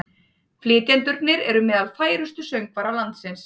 Flytjendurnir eru meðal færustu söngvara landsins